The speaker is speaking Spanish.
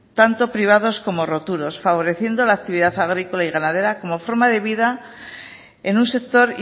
tanto privados como roturos favoreciendo la actividad agrícola y ganadera como forma de vida en un sector